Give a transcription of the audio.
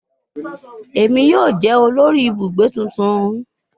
Emi yoo jẹ olori ibugbe tuntun